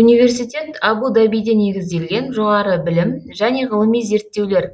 университет абу дабида негізделген жоғары білім және ғылыми зерттеулер